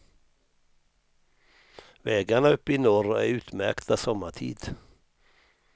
Vägarna uppe i norr är utmärkta sommartid.